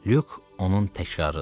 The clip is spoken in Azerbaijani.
Lük onun təkrarıdır.